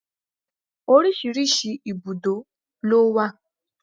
Oríṣiríṣi ibùdó ló wà.